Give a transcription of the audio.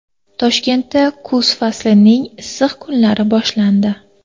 Toshkentda kuz faslining issiq kunlari boshlandi.